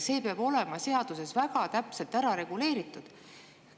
See peab olema seaduses väga täpselt ära reguleeritud.